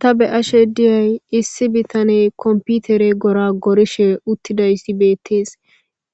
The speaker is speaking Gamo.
Ta be"ashshe dizay issi bitaney computer goragorishe dizayissi bettes